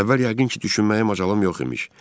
Əvvəl yəqin ki, düşünməyə macalım yox imiş.